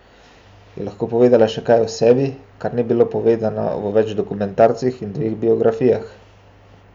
Je lahko povedala še kaj o sebi, kar ni bilo povedano v več dokumentarcih in dveh biografijah?